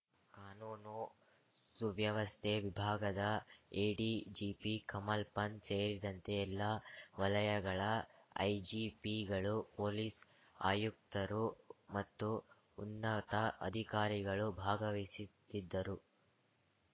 ಕಾನೂನು ಸುವ್ಯವಸ್ಥೆ ವಿಭಾಗದ ಎಡಿಜಿಪಿ ಕಮಲ್‌ ಪಂತ್‌ ಸೇರಿದಂತೆ ಎಲ್ಲಾ ವಲಯಗಳ ಐಜಿಪಿಗಳು ಪೊಲೀಸ್‌ ಆಯುಕ್ತರು ಮತ್ತು ಉನ್ನತ ಅಧಿಕಾರಿಗಳು ಭಾಗವಹಿಸಿತ್ತಿದ್ದರು